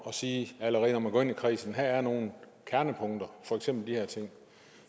at sige allerede når man går ind i kredsen at her er nogle kernepunkter for eksempel de her ting